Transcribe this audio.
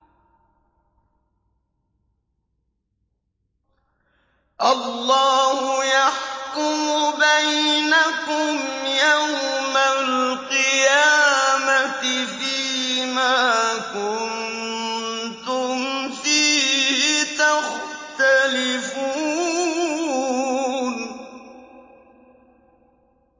اللَّهُ يَحْكُمُ بَيْنَكُمْ يَوْمَ الْقِيَامَةِ فِيمَا كُنتُمْ فِيهِ تَخْتَلِفُونَ